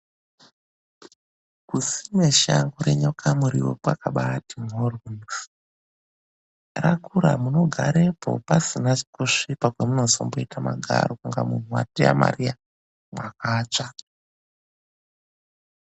KUSIME SHANGO RENYOKA MURIWO KWAKABAATI MHORYO RAKURA MUNOGAREPO PASINA KUSVIPA KWAMUNOZOITE MAGARO KUNGE MUNHU WATEYA MARIYA MAKATSVA.